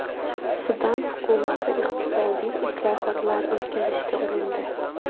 Sudan hukumati iqtisodiy islohotlar o‘tkazishga urindi.